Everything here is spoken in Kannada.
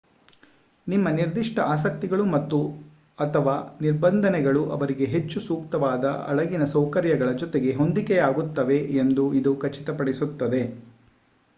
ನಿಮ್ಮ ನಿರ್ದಿಷ್ಟ ಆಸಕ್ತಿಗಳು ಮತ್ತು/ಅಥವಾ ನಿರ್ಬಂಧಗಳು ಅವರಿಗೆ ಹೆಚ್ಚು ಸೂಕ್ತವಾದ ಹಡಗಿನ ಸೌಕರ್ಯಗಳ ಜೊತೆಗೆ ಹೊಂದಿಕೆಯಾಗುತ್ತವೆ ಎಂದು ಇದು ಖಚಿತಪಡಿಸುತ್ತದೆ